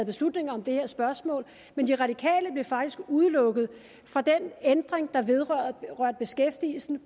beslutning om det her spørgsmål men de radikale blev faktisk udelukket fra den ændring der vedrørte beskæftigelsen